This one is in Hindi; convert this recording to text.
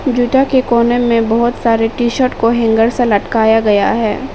जूता के कोने में बहुत सारे टी- शर्ट को हैंगर से लटकाया गया है।